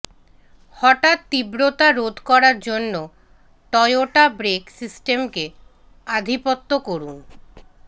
হঠাৎ তীব্রতা রোধ করার জন্য টয়োটা ব্রেক সিস্টেমকে আধিপত্য করুন